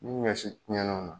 Ni ɲɔsi tiɲɛna o na